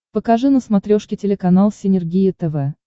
покажи на смотрешке телеканал синергия тв